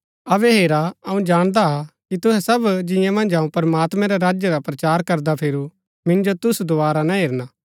अबै हेरा अऊँ जाणदा हा कि तुहै सब जिंआं मन्ज अऊँ प्रमात्मैं रै राज्य रा प्रचार करदा फिरू मिन्जो तुसु दोवारा ना हेरना